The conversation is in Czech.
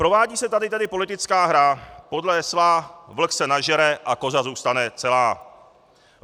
Provádí se tady tedy politická hra podle hesla vlk se nažere a koza zůstane celá.